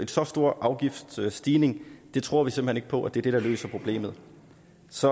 så stor afgiftsstigning tror vi simpelt hen ikke på er det der løser problemet så